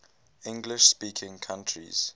english speaking countries